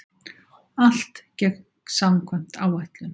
Allt gekk samkvæmt áætlun